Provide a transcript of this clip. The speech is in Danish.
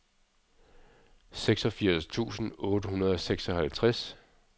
seksogfirs tusind otte hundrede og seksoghalvtreds